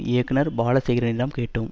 இயக்குனர் பாலசேகரனிடம் கேட்டோம்